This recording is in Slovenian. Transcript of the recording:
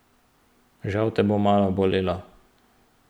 Žal te bo malo bolelo.